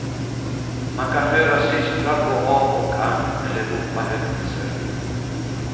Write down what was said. Man kan höra systrar gå av och an, eller ropa högt i sömnen.